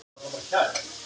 Það er mikið vatn núna